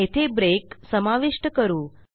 येथे ब्रेक समाविष्ट करू